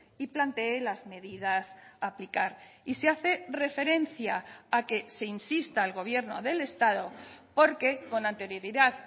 y plantee las medidas a aplicar y se hace referencia a que se insista al gobierno del estado porque con anterioridad